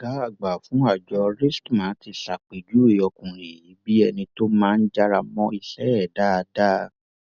ọgá àgbà fún àjọ rstma ti ṣàpèjúwe ọkùnrin yìí bíi ẹni tó máa ń jára mọ iṣẹ ẹ dáadáa